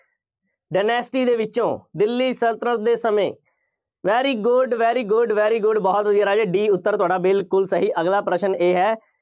dynasty ਦੇ ਵਿੱਚੋਂ ਦਿੱਲੀ ਸਲਤਨਤ ਦੇ ਸਮੇਂ very good, very good, very good ਬਹੁਤ ਵਧੀਆ ਰਾਜੇ, D ਉੱਤਰ ਤਹਾਡਾ ਬਿਲਕੁੱਲ ਸਹੀ। ਅਗਲਾ ਪ੍ਰਸ਼ਨ ਇਹ ਹੈ,